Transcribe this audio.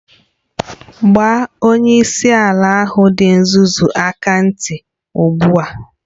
Gbaa onyeisi ala ahụ dị nzuzu aka ntị ugbu a!